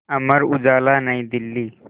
Amar Ujala New Delhi